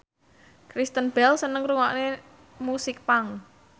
Kristen Bell seneng ngrungokne musik punk